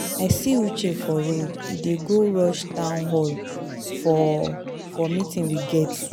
I see Uche for road, he dey go rush town hall for for meeting we get.